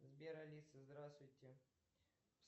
сбер алиса здравствуйте